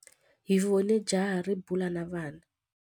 Hi vone jaha ri bula na vana.